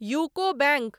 UCO bank